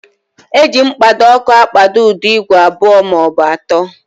Eji mkpado ọkụ akpado ụdọ igwe abụọ maọbụ atọ.